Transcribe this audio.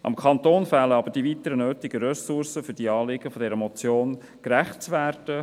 Dem Kanton fehlen aber die weiteren nötigen Ressourcen, um den Anliegen dieser Motion gerecht zu werden.